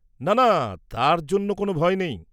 না না, তার জন্য কোনও ভয় নেই।